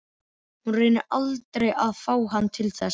Hún reynir aldrei að fá hann til þess.